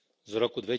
z roku